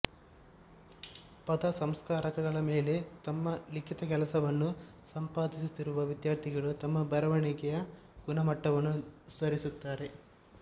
ಪದ ಸಂಸ್ಕಾರಕಗಳ ಮೇಲೆ ತಮ್ಮ ಲಿಖಿತ ಕೆಲಸವನ್ನು ಸಂಪಾದಿಸುತ್ತಿರುವ ವಿದ್ಯಾರ್ಥಿಗಳು ತಮ್ಮ ಬರವಣಿಗೆಯ ಗುಣಮಟ್ಟವನ್ನು ಸುಧಾರಿಸುತ್ತಾರೆ